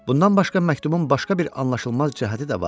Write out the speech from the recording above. Bundan başqa məktubun başqa bir anlaşılmaz cəhəti də vardı.